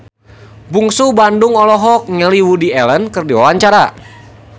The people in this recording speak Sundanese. Bungsu Bandung olohok ningali Woody Allen keur diwawancara